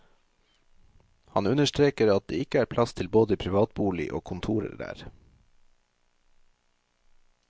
Han understreker at det ikke er plass til både privatbolig og kontorer der.